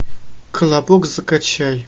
колобок закачай